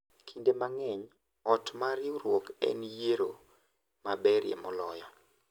Kinde mang’eny, ot mar riwruok en yiero maberie moloyo,